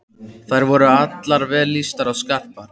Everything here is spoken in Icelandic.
Þær voru allar vel lýstar og skarpar.